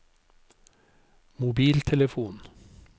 mobiltelefon